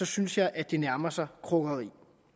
synes jeg at det nærmer sig krukkeri